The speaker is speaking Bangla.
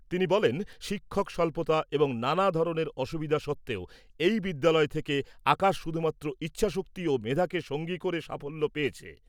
তিনি বলেন, শিক্ষক স্বল্পতা এবং নানা ধরনের অসুবিধা সত্ত্বেও এই বিদ্যালয় থেকে আকাশ শুধুমাত্র ইচ্ছাশক্তি ও মেধাকে সঙ্গী করে সাফল্য পেয়েছে।